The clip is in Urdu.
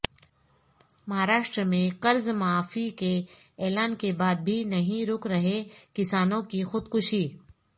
مہاراشٹر میں قرض معافی کے اعلان کے بعد بھی نہیں رک رہیکسانوں کی خودکشی